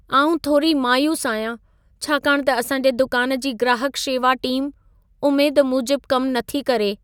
आउं थोरी मायूसु आहियां, छाकाणि त असां जे दुकान जी ग्राहक शेवा टीम उमेद मूजब कम नथी करे।